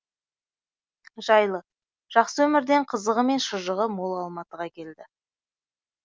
жайлы жақсы өмірден қызығы мен шыжығы мол алматыға келді